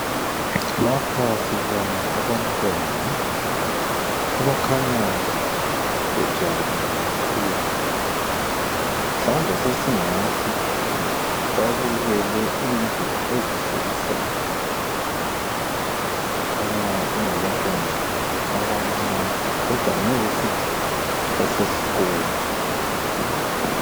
Lapha sibona abantwana abakhanya bejabulile kakhulu mhlawumbe sesingathi babukele into ezihlekisayo kukhanya kungabantwana abancane kodwa ngeke sithi basesikolo.